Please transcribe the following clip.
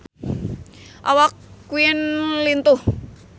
Awak Queen lintuh